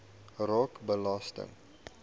raak belasting